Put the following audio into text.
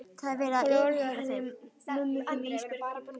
Farðu varlega að henni mömmu þinni Ísbjörg mín.